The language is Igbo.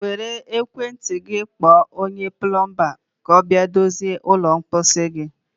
Were ekwentị gị kpọọ onye plọmbaa ka ọ bịa dozie ụlọ mposi gị.